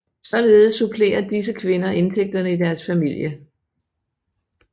Således supplerer disse kvinder indtægterne i deres familie